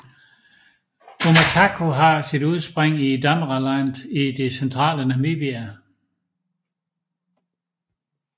Omatako har sit udspring i Damaraland i det centrale Namibia